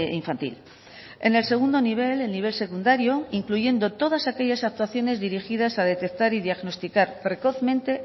infantil en el segundo nivel el nivel secundario incluyendo todas aquellas actuaciones dirigidas a detectar y diagnosticar precozmente